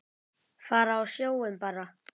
Fara á sjóinn bara.